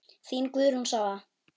Þín Guðrún Svava.